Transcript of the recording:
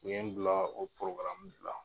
U ye n bila o de la.